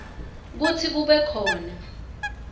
kutsi kube khona